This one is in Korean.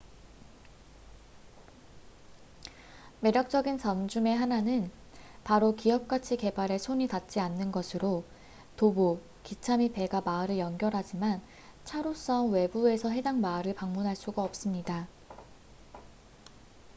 매력적인 점 중의 하나는 바로 기업가치 개발의 손이 닿지 않는 것으로 도보 기차 및 배가 마을을 연결하지만 차로선 외부에서 해당 마을을 방문할 수가 없습니다